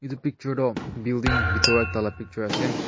etu picture toh building bitor ekta la picture ase.